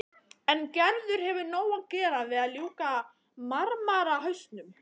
En Gerður hefur nóg að gera við að ljúka marmarahausnum.